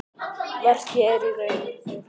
Verkið er í raun þeirra.